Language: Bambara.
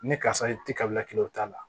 Ni karisa i ti ka bila kelen o t'a la